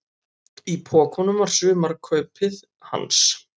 Í pokunum var sumarkaupið hans.